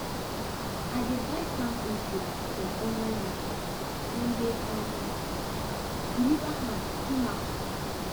i dey buy farm input for online market dem dey um deliver am come house